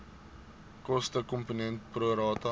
kostekomponent pro rata